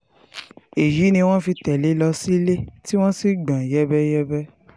èyí ni wọ́n fi tẹ̀lé e lọ sílé e tí wọ́n sì gbọ́n ọn yẹ́bẹ́yẹ́bẹ́